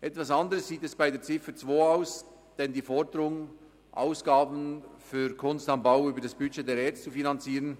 Etwas anders sieht es bei Ziffer 2 mit der Forderung aus, Ausgaben für «Kunst am Bau» über das Budget der ERZ zu finanzieren.